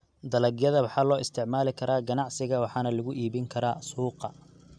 Dalagyada waxaa loo isticmaali karaa ganacsiga waxaana lagu iibin karaa suuqa.